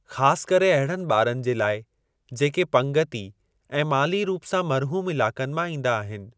ख़ासि करे अहिड़नि ॿारनि जे लाइ, जेके पंगिती ऐं माली रूप सां महरूम इलाक़नि मां ईंदा आहिनि।